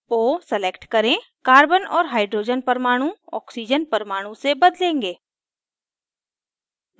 o select करेंकार्बन और hydrogen परमाणु ऑक्सीजन परमाणु से बदलेंगे